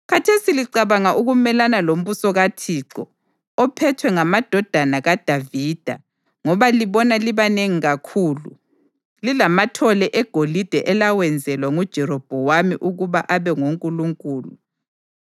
Khathesi licabanga ukumelana lombuso kaThixo, ophethwe ngamadodana kaDavida ngoba libona libanengi kakhulu, lilamathole eGolide elawenzelwa nguJerobhowamu ukuba abe ngonkulunkulu.